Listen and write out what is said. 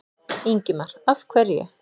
Ingimar: Af hverju?